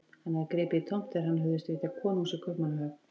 Hann hafði gripið í tómt þegar hann hugðist vitja konungs í Kaupmannahöfn.